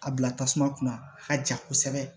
A bila tasuma kunna a ka ja kosɛbɛ